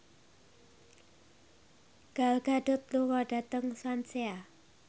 Gal Gadot lunga dhateng Swansea